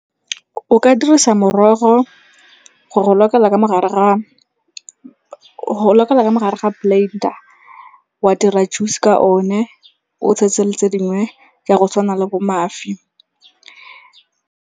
O ka dirisa morogo go go lokela ka mogare ga plate-a wa dira juice-e ka o ne, o tshetse le tse dingwe ja go tshwana le bo mašwi.